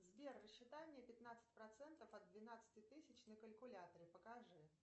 сбер рассчитай мне пятнадцать процентов от двенадцати тысяч на калькуляторе покажи